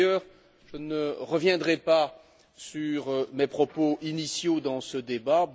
Par ailleurs, je ne reviendrai pas sur mes propos initiaux dans ce débat.